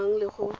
e e amanang le go